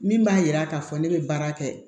Min b'a yira k'a fɔ ne bɛ baara kɛ